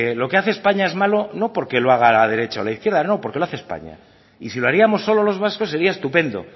lo que hace españa es malo no porque lo haga la derecha o la izquierda no porque lo hace españa y si lo haríamos solo los vascos sería estupendo